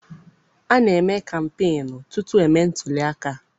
A na-eme kampeenu tutu e mee ntuliaka.